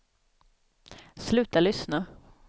sluta lyssna